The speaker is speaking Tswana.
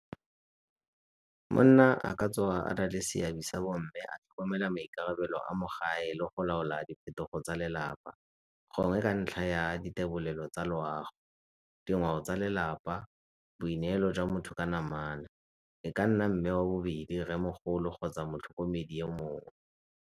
Monna a ka tsoga a na le seabe sa bo mme a tlhokomela maikarabelo a mo gae le go laola diphetogo tsa lelapa gongwe ka ntlha ya di tsa loago, dingwao tsa lelapa, boineelo jwa motho ka namana. E ka nna mme wa bobedi, rremogolo kgotsa motlhokomedi yo mongwe.